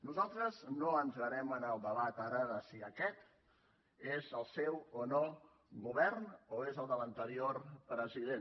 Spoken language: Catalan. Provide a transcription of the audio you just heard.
nosaltres no entrarem en el debat ara de si aquest és el seu o no govern o és el de l’anterior president